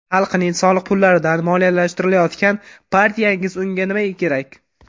Xalqning soliq pullaridan moliyalashtirilayotgan partiyangiz unda nimaga kerak?